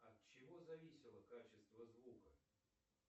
от чего зависело качество звука